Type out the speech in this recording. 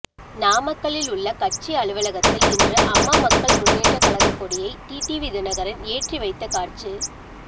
நாமக்கல்லில் உள்ள கட்சி அலுவலகத்தில் இன்று அம்மா மக்கள் முன்னேற்ற கழக கொடியை டிடிவிதினகரன் ஏற்றி வைத்த காட்சி